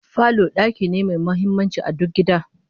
Falo daki ne mai muhimmanci a duk gida